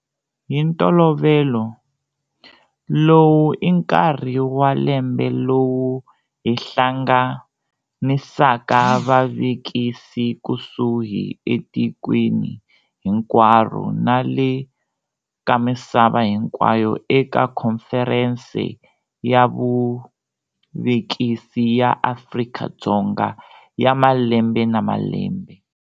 Hi ntolovelo, lowu i nkarhi wa lembe lowu hi hlanganisaka vavekisi kushi etikweni hinkwaro na le ka misava hinkwayo eka Khomferense ya Vuvekisi ya Afrika-Dzonga ya malembe na malembe.